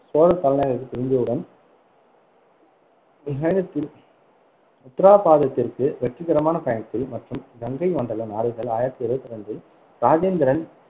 சோழர் தலைநகருக்குத் திரும்பியவுடன் உத்தராபாதத்திற்கு வெற்றிகரமான பயணத்தில் மற்றும் கங்கை மண்டலம் நாடுகள் ஆயிரத்தி இருவத்தி ரெண்டில், ராஜேந்திரன்